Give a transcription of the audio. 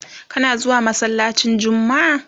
kana zuwa masallacin jummma?